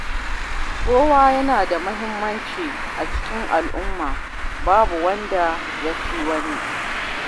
Kowa yana da muhimmanci a cikin al’umma, babu wanda ya fi wani.